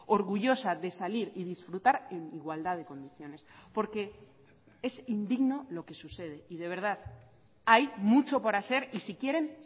orgullosa de salir y disfrutar en igualdad de condiciones porque es indigno lo que sucede y de verdad hay mucho por hacer y si quieren